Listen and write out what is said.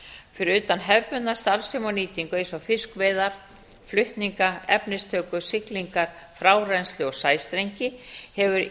fyrir utan hefðbundna starfsemi og nýtingu eins og fiskveiðar flutninga efnistöku siglingar frárennsli og sæstrengi hefur